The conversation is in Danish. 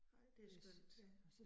Nej det skønt